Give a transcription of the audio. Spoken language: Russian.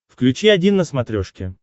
включи один на смотрешке